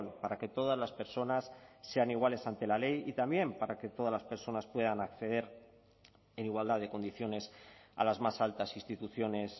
para que todas las personas sean iguales ante la ley y también para que todas las personas puedan acceder en igualdad de condiciones a las más altas instituciones